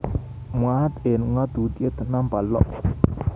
mwaat eng ngatutitiet namba lo